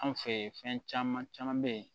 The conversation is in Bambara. Anw fɛ yen fɛn caman caman bɛ yen